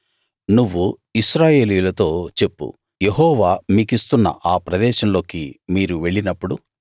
నువ్వు ఇశ్రాయేలీయులతో చెప్పు యెహోవా మీకిస్తున్న ఆ ప్రదేశంలోకి మీరు వెళ్ళినప్పుడు